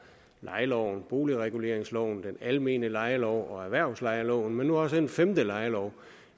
lejeloven boligreguleringsloven den almene lejelov og erhvervslejeloven men nu også får en femte lejelov